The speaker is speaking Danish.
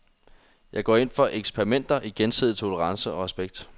Jeg går ind for eksperimenter i gensidig tolerance og respekt.